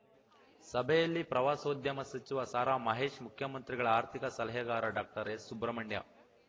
ಸಭೆಯಲ್ಲಿ ಪ್ರವಾಸೋದ್ಯಮ ಸಚಿವ ಸಾರಾಮಹೇಶ್‌ ಮುಖ್ಯಮಂತ್ರಿಗಳ ಆರ್ಥಿಕ ಸಲಹೆಗಾರ ಡಾಕ್ಟರ್ಎಸ್‌ಸುಬ್ರಹ್ಮಣ್ಯ